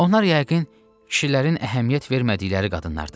Onlar yəqin kişilərin əhəmiyyət vermədikləri qadınlardır.